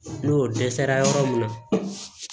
N'o dɛsɛra yɔrɔ min na